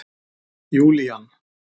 Júlían